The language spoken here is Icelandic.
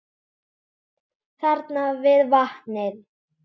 Þarna við vatnið.